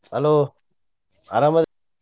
Hello ಅರಾಮ?